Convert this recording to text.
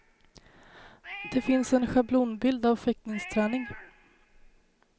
Det finns en schablonbild av fäktningsträning.